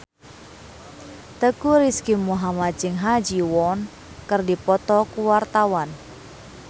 Teuku Rizky Muhammad jeung Ha Ji Won keur dipoto ku wartawan